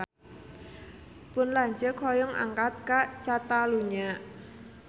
Pun lanceuk hoyong angkat ka Catalunya